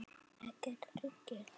Ekkert hryggir hann.